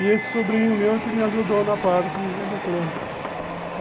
E esse sobrinho meu que me ajudou na parte eletrônica.